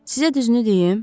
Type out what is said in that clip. Sizə düzünü deyim?